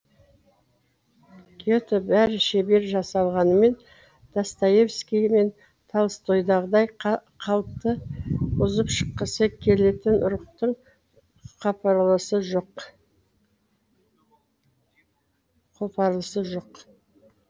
гетеде бәрі шебер жасалғанымен достоевский мен толстойдағыдай қалыпты бұзып шыққысы келетін рухтың қопарылысы жоқ